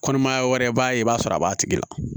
Kɔnɔmaya wɛrɛ i b'a ye i b'a sɔrɔ a b'a tigi la